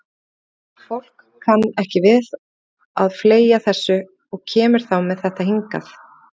Fólk kann ekki við að fleygja þessu og kemur þá með þetta hingað.